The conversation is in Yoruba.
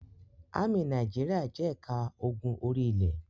Ámì Nàìjíríà jẹ́ ẹ̀ka ogun orí-ilẹ̀.